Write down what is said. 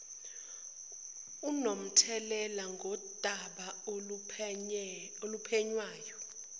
onomthelela ngodaba oluphenywayo